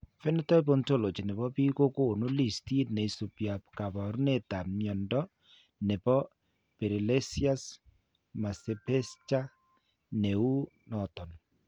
Phenotype Ontology ne po biik ko konu listiit ne isubiap kaabarunetap mnyando ne po Pelizaeus Merzbacher ne uu noton.